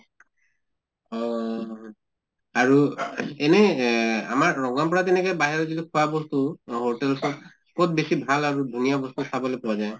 অহ আৰু এনেই এ আমাৰ ৰঙাপাৰা ৰ পৰা বাহিৰৰ যিটো খোৱা বস্তু hotel খন, কʼত বেছি ভাল আৰু ধুনীয়া বস্তু খাবলৈ পোৱা যায় ?